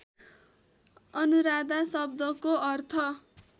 अनुराधा शब्दको अर्थ